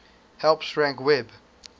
helps rank web